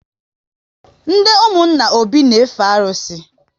Ndị ụmụnna Obi n efe arụsị